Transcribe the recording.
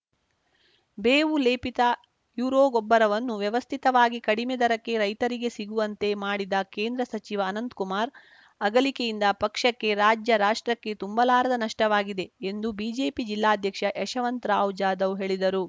ಬೇವು ಲೇಪಿತ ಯುರೋ ಗೊಬ್ಬರವನ್ನು ವ್ಯವಸ್ಥಿತವಾಗಿ ಕಡಿಮೆ ದರಕ್ಕೆ ರೈತರಿಗೆ ಸಿಗುವಂತೆ ಮಾಡಿದ ಕೇಂದ್ರ ಸಚಿವ ಅನಂತಕುಮಾರ್‌ ಅಗಲಿಕೆಯಿಂದ ಪಕ್ಷಕ್ಕೆ ರಾಜ್ಯ ರಾಷ್ಟ್ರಕ್ಕೆ ತುಂಬಲಾರದ ನಷ್ಟವಾಗಿದೆ ಎಂದು ಬಿಜೆಪಿ ಜಿಲ್ಲಾಧ್ಯಕ್ಷ ಯಶವಂತರಾವ್‌ ಜಾಧವ್‌ ಹೇಳಿದರು